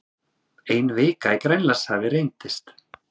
Ein vika í Grænlandshafi reyndist